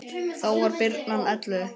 Þá var birnan ellefu vetra.